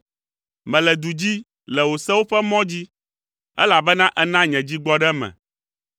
Mele du dzi le wò sewo ƒe mɔ dzi, elabena èna nye dzi gbɔ ɖe me.